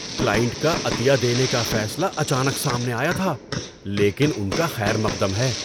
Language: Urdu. کلائنٹ کا عطیہ دینے کا فیصلہ اچانک سامنے آیا تھا، لیکن ان کا خیر مقدم ہے۔